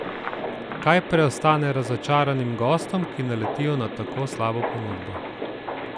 Kaj preostane razočaranim gostom, ki naletijo na tako slabo ponudbo?